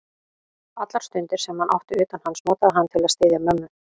Allar stundir, sem hann átti utan hans, notaði hann til að styðja mömmu.